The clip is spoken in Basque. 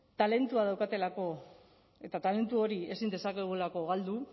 talentua daukatelako eta talentu hori ezin dezakegulako galdu